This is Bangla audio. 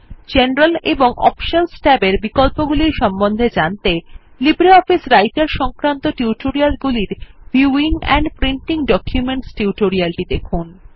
জেনারেল এবং অপশনস ট্যাবের বিকল্পগুলি সম্বন্ধে জানতে লিব্রিঅফিস রাইটের সংক্রান্ত টিউটোরিয়াল গুলির ভিউইং এন্ড প্রিন্টিং ডকুমেন্টস টিউটোরিয়ালটি দেখুন